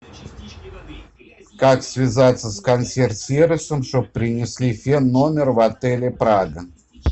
как связаться с консьерж сервисом чтоб принесли фен в номер в отеле прага